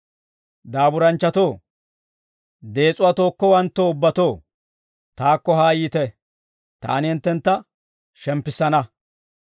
«Daaburanchchatoo, dees'uwaa tookkowanttoo ubbatoo, taakko haa yiite; taani hinttentta shemppissana.